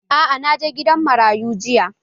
Aa, na je gidan marayun jiya